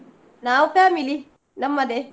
ನಾವು family ನಮ್ಮದೇ.